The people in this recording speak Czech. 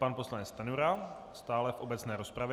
Pan poslanec Stanjura stále v obecné rozpravě.